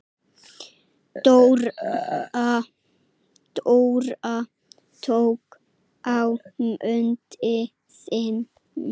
Dóra tók á móti þeim.